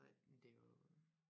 Nej men det er jo